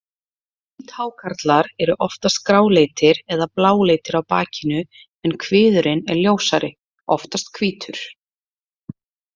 Hvíthákarlar eru oftast gráleitir eða bláleitir á bakinu en kviðurinn er ljósari, oftast hvítur.